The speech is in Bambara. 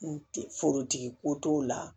N te forotigi ko t'o la